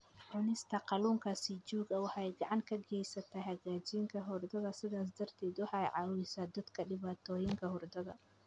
Cunista kalluunka si joogto ah waxay gacan ka geysataa hagaajinta hurdada, sidaas darteed waxay caawisaa dadka dhibaatooyinka hurdada.